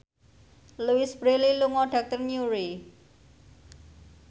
Louise Brealey lunga dhateng Newry